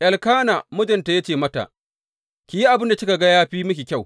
Elkana mijinta ya ce mata, Ki yi abin da kika ga ya fi miki kyau.